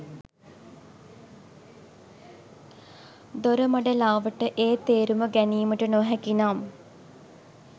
දොරමඩලාවට ඒ තේරුම ගැනීමට නොහැකි නම්